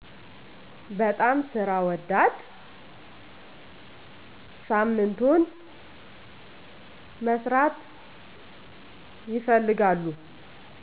በጣም ስራ ወዳድ ሳምንቱን መስራት ይፈልጋሉ